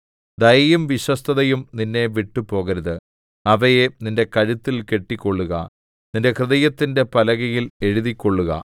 ദയയും വിശ്വസ്തതയും നിന്നെ വിട്ടുപോകരുത് അവയെ നിന്റെ കഴുത്തിൽ കെട്ടിക്കൊള്ളുക നിന്റെ ഹൃദയത്തിന്റെ പലകയിൽ എഴുതിക്കൊള്ളുക